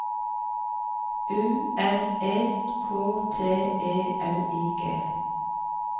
U N E K T E L I G